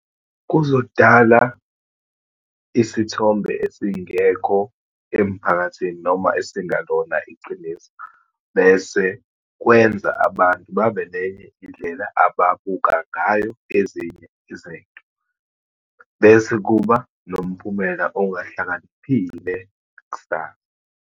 Kuzodala isithombe esingekho emphakathini, noma esingalona iqiniso, bese kwenza abantu babe nenye indlela ababuka ngayo ezinye izinto. Bese kuba nomphumela ongahlakaniphile kusasa.